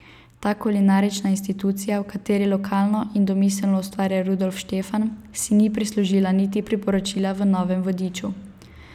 Ta kulinarična institucija, v kateri lokalno in domiselno ustvarja Rudolf Štefan, si ni prislužila niti priporočila v novem vodiču.